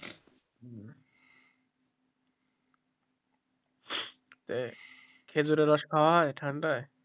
খেজুরের রস খাওয়া হয় ঠান্ডায়?